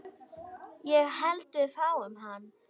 Ég held við fáum hann.